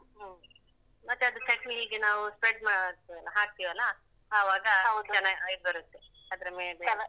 ಹ್ಮ್. ಮತ್ತೆ ಅದು ಚಟ್ನಿಗೆ ನಾವು spread ಮಾಡಿ ಹಾಕ್ತಿವೆಲ್ಲ ಆವಾಗ ಚೆನ್ನಾಗ್ ಬರುತ್ತೆ ಅದ್ರ ಮೇಲೆ.